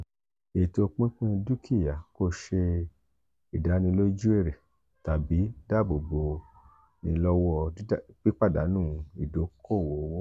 eto pinpin dukia ko ṣe idaniloju èrè tabi dabobo bo ni lowo piipadanu idoko-owo.